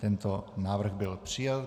Tento návrh byl přijat.